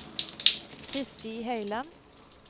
Kristi Høiland